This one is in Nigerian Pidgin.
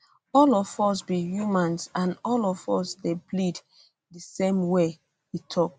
all of us be humans and all of us dey bleed di same way e e tok